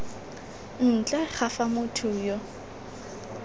ntle ga fa motho yo